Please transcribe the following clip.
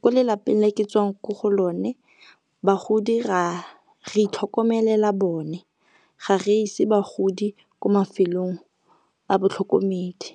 ko lelapeng le ke tswang ko go lone bagodi re itlhokomelela bone, ga re ise bagodi ko mafelong a batlhokomedi.